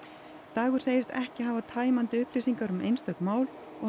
dagur segist ekki hafa tæmandi upplýsingar um einstök mál og